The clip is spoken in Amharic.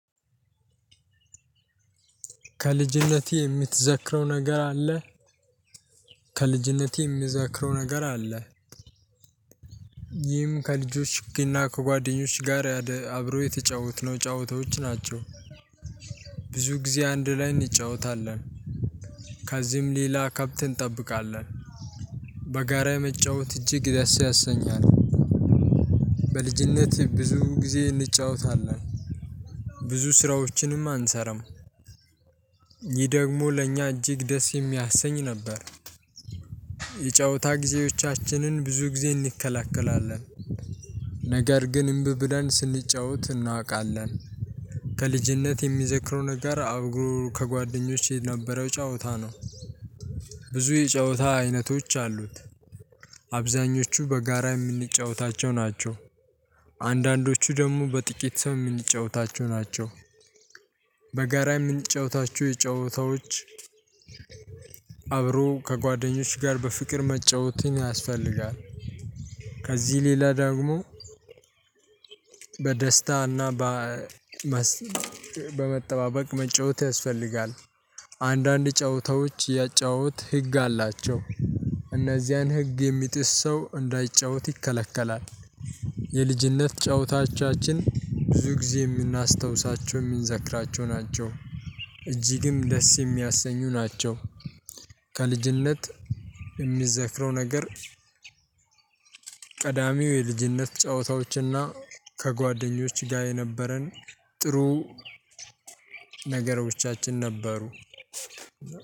ከልጅነቴ የምትዘክረው ነገር አለ? ከልጅነቴ የሚዘክረው ነገር አለ? ይህም ከልጆች እና ከጓደኞች ጋር አብሮ የተጫወትነው ጨዋታዎች ናቸው። ብዙ ጊዜ አንድ ላይ እንጫወታለን። ከዚህም ሌላ ከብት እንጠብቃለን። በጋራ መጫወት እጅግ ደስ ያሰኛል። በልጅነቴ ብዙ ጊዜ እንጫወታለን። ብዙ ስራዎችንም አንሰራም። ይህ ደግሞ ለእኛ እጅግ ደስ የሚያሰኝ ነበር። ጊዜዎቻችንን ብዙ ጊዜ እንከላከላለን ነገር ግን እምቢ ብለን ስንጫወት እናውቃለን። ከልጅነት የሚዘክረው ነገር አብሮ ከጓደኞቼ የነበረው ጨዋታ ነው። ብዙ የጨዋታ አይነቶች አሉት። አብዛኞቹ በጋራ የምንጫወታቸው ናቸው። አንዳንዶቹ ደግሞ በጥቂት ሰው የምንጫወታቸው ናቸው። የምንጫወታችው የጨዋታዎች አብሮ ከጓደኞች ጋር በፍቅር መጫወትን ያስፈልጋል። ከዚህ ሌላ ደግሞ። በደስታና በመጠባበቅ መጫወት ያስፈልጋል። አንዳንድ ጨዋታዎች ያጨዋወት ህግ አላቸው። እነዚያን ህግ የሚጥስ ሰው እንዳይጫወት ይከለከላል። የልጅነት ጨዋታዎቻችን ብዙ ጊዜ የምናስታውሳቸው የምንዘክራቸው ናቸው። እጅግም ደስ የሚያሰኙ ናቸው። ከልጅነት የምዘክረው ነገር። ቀዳሚው የልጅነት ጨዋታዎችና ከጓደኞች ጋር የነበረን ጥሩ ነገሮቻችን ነበሩ።